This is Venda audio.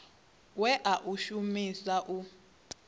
we a u shumisa u